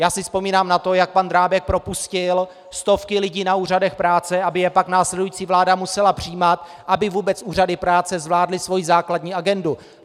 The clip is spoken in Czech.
Já si vzpomínám na to, jak pan Drábek propustil stovky lidí na úřadech práce, aby je pak následující vláda musela přijímat, aby vůbec úřady práce zvládly svoji základní agendu.